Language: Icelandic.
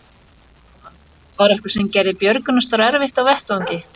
Jóhann: Var eitthvað sem gerði björgunarstarf erfitt á vettvangi?